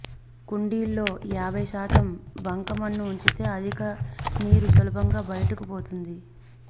కుండీల్లో యాభై శాతం బంకమన్ను ఉంచితే అధిక నీరు సులభంగా బయటకు పోతుంది